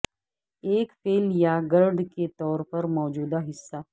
ایک فعل یا گرڈ کے طور پر موجودہ حصہ